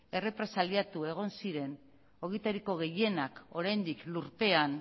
errepresaliatu egon ziren horietariko gehienak oraindik lurpean